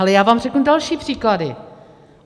Ale já vám řeknu další příklady.